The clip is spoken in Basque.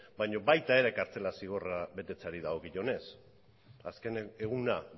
baina baita ere kartzela zigorra betetzeari dagokionez azken eguna